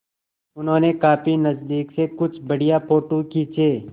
उन्होंने काफी नज़दीक से कुछ बढ़िया फ़ोटो खींचे